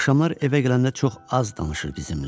Axşamlar evə gələndə çox az danışır bizimlə.